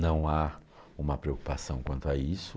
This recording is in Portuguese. Não há uma preocupação quanto a isso.